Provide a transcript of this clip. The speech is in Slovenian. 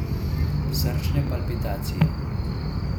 Srčne palpitacije.